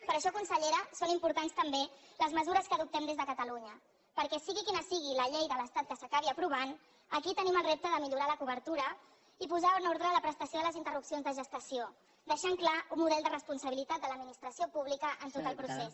per això consellera són importants també les mesures que adoptem des de catalunya perquè sigui quina sigui la llei de l’estat que s’acabi aprovant aquí tenim el repte de millorar la cobertura i posar en ordre la prestació de les interrupcions de gestació deixant clar un model de responsabilitat de l’administració pública en tot el procés